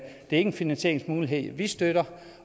en finansieringsmulighed vi støtter